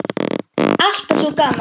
Alltaf svo gaman.